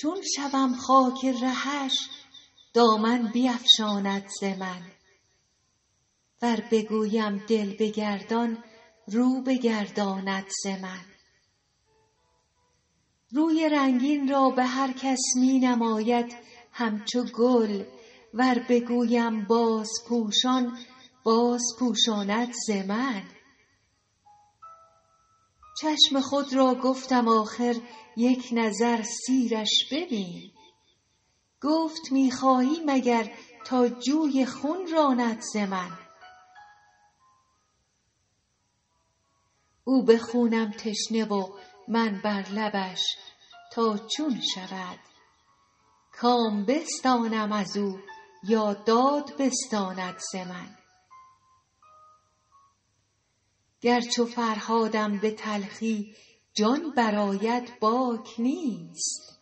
چون شوم خاک رهش دامن بیفشاند ز من ور بگویم دل بگردان رو بگرداند ز من روی رنگین را به هر کس می نماید همچو گل ور بگویم بازپوشان بازپوشاند ز من چشم خود را گفتم آخر یک نظر سیرش ببین گفت می خواهی مگر تا جوی خون راند ز من او به خونم تشنه و من بر لبش تا چون شود کام بستانم از او یا داد بستاند ز من گر چو فرهادم به تلخی جان برآید باک نیست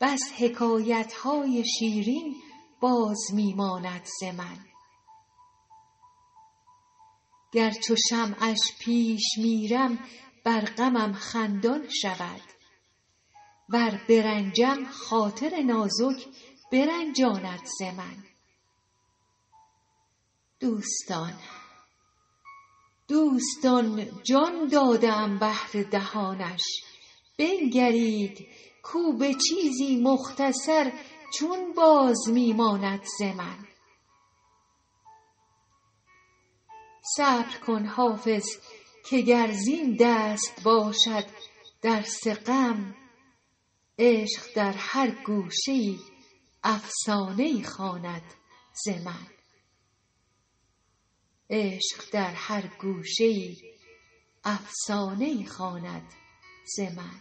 بس حکایت های شیرین باز می ماند ز من گر چو شمعش پیش میرم بر غمم خندان شود ور برنجم خاطر نازک برنجاند ز من دوستان جان داده ام بهر دهانش بنگرید کو به چیزی مختصر چون باز می ماند ز من صبر کن حافظ که گر زین دست باشد درس غم عشق در هر گوشه ای افسانه ای خواند ز من